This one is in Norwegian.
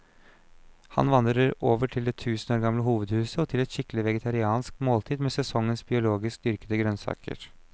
Han vandrer over til det tusen år gamle hovedhuset og til et skikkelig vegetariansk måltid med sesongens biologisk dyrkede grønnsaker.